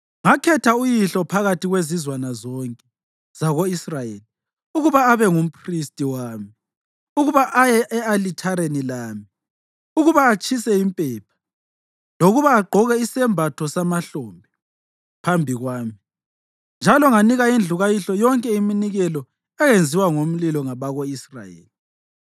Ngakhetha uyihlo phakathi kwezizwana zonke zako-Israyeli ukuba abe ngumphristi wami, ukuba aye e-alithareni lami, ukuba atshise impepha, lokuba agqoke isembatho samahlombe phambi kwami. Njalo nganika indlu kayihlo yonke iminikelo eyenziwa ngomlilo ngabako-Israyeli.